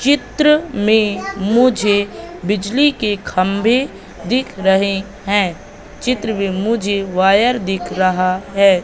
चित्र में मुझे बिजली के खंभे दिख रहे हैं चित्र में मुझे वायर दिख रहा है।